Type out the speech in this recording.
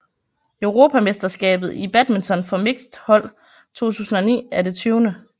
Europamesterskabet i badminton for mixed hold 2009 er det 20